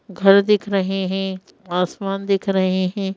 घर दिख रहे हैं आसमान दिख रहे हैं।